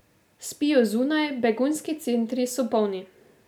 Spijo zunaj, begunski centri so polni.